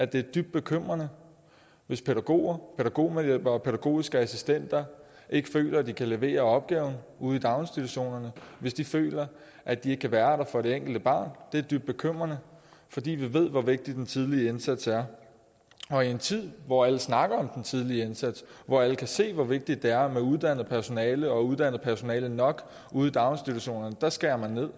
det er dybt bekymrende hvis pædagoger pædagogmedhjælpere og pædagogiske assistenter ikke føler at de kan levere opgaven ude i daginstitutionerne hvis de føler at de ikke kan være der for det enkelte barn det er dybt bekymrende fordi vi ved hvor vigtig den tidlige indsats er og i en tid hvor alle snakker om den tidlige indsats hvor alle kan se hvor vigtigt det er med uddannet personale og uddannet personale nok ude i daginstitutionerne skærer man